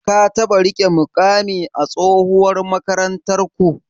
Ka taɓa riƙe muƙami a tsohuwar makarantarku?